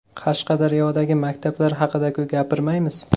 Qashqadaryodagi maktablar haqida-ku gapirmaymiz .